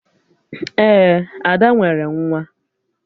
Ee, Ada nwere nwa